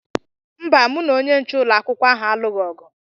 Mba, mụ na onye nche ụlọakwụkwọ ahụ alụghị ọgụ.